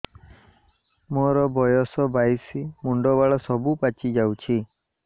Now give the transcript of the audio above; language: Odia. ମୋର ବୟସ ବାଇଶି ମୁଣ୍ଡ ବାଳ ସବୁ ପାଛି ଯାଉଛି